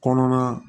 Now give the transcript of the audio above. Kɔnɔna